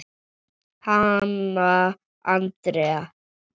Hanna Andrea.